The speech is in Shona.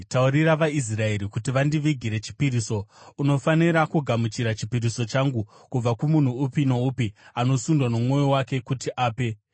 “Taurira vaIsraeri kuti vandivigire chipiriso. Unofanira kugamuchira chipiriso changu kubva kumunhu upi noupi anosundwa nomwoyo wake kuti ape.